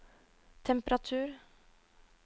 temperatur